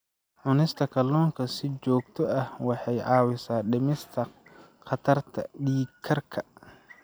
Cunista kalluunka si joogto ah waxay caawisaa dhimista khatarta dhiig karka.